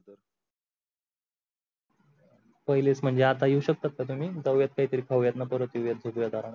पहिलेच म्हणजे आता येऊ शकतात का तुम्ही? जाऊयात काही तरी खाऊयात मग परत येऊयात झोपूयात आरामात,